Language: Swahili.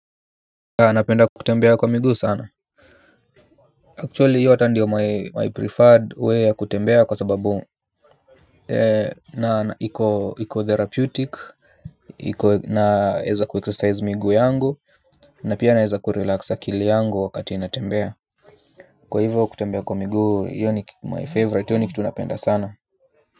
Anapenda kutembea kwa miguu sana. Actually hiyo hata ndiyo my preferred way ya kutembea kwa sababu na iko therapeutic na naweza kuexercise miguuu yangu. Na pia naweza kurelax kili yangu wakati natembea. Kwa hivyo kutembea kwa miguu hiyo ni my favorite hiyo ni kitu napenda sana.